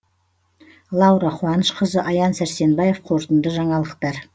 лаура қуанышқызы аян сәрсенбаев қорытынды жаңалықтар